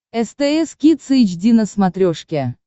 стс кидс эйч ди на смотрешке